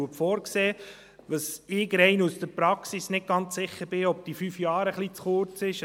Wo ich, rein aus der Praxis, nicht ganz sicher bin, ist, ob die fünf Jahre nicht zu kurz sind.